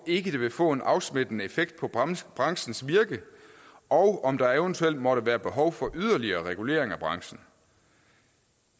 ikke det vil få en afsmittende effekt på branchens branchens virke og om der eventuelt måtte være behov for yderligere regulering af branchen